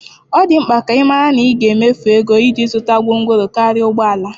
Ọ dị mkpa ka ị mara na ị ga-emefu ego iji zụta gwongworo karịa ụgbọ ala.